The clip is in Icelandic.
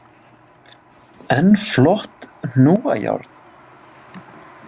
Enn flott hnúajárn!